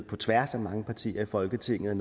på tværs af mange partier i folketinget